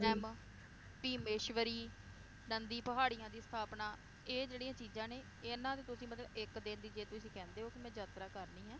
RAM, ਸੀਮੇਸ਼੍ਵਰੀ, ਨੰਦੀ ਪਹਾੜੀਆਂ ਦੀ ਸਥਾਪਨਾ, ਇਹ ਜਿਹੜੀਆਂ ਚੀਜਾਂ ਨੇ, ਇਹਨਾਂ ਤੇ ਤੁਸੀਂ ਮਤਲਬ ਇੱਕ ਦਿਨ ਲਈ ਜੇ ਤੁਹੀ ਕਹਿੰਦੇ ਓ ਕਿ ਮੈ ਯਾਤਰਾ ਕਰਨੀ ਹੈ,